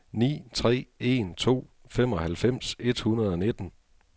ni tre en to femoghalvfems et hundrede og nitten